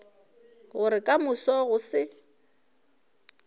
gore ka moso go se